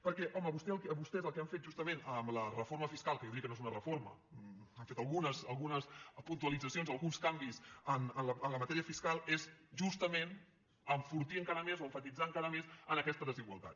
perquè home vostès el que han fet justament amb la reforma fiscal que jo diria que no és una reforma han fet algunes puntualitzacions alguns canvis en la matèria fiscal és justament enfortir encara més o emfatitzar encara més aquesta desigualtat